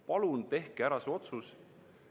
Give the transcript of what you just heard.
Palun tehke see otsus ära!